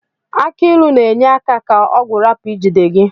Aki ilu n'enye aka ka ọgwu rapu ijide gi.